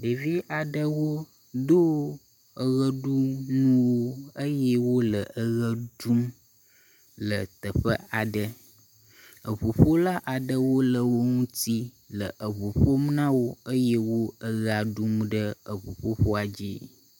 Ɖevi aɖewo do eʋeɖunuwo eye wole eʋe ɖum le teƒe aɖe, eŋuƒola aɖewo le wo ŋuti le eŋu ƒom na wo eye wo eʋea ɖum ɖe ŋuƒoƒoa dzi.